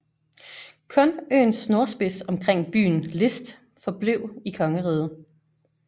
Kun øens nordspids omkring byen List foreblev i kongeriget